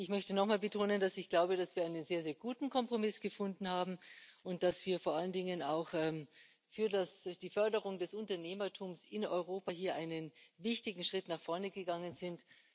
Ich möchte nochmal betonen, dass ich glaube, dass wir einen sehr, sehr guten Kompromiss gefunden haben und dass wir vor allen Dingen auch für die Förderung des Unternehmertums in Europa hier einen wichtigen Schritt nach vorne gegangen sind.